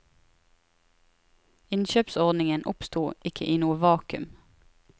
Innkjøpsordningen oppstod ikke i noe vakuum.